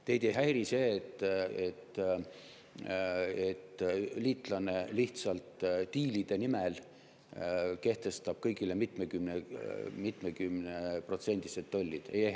Kas teid ei häiri see, et liitlane lihtsalt diilide nimel kehtestab kõigile mitmekümneprotsendilised tollid?